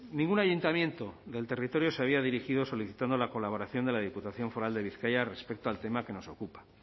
ningún ayuntamiento del territorio se había dirigido solicitando la colaboración de la diputación foral de bizkaia respecto al tema que nos ocupa